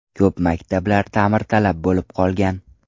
Ko‘p maktablar ta’mirtalab bo‘lib qolgan.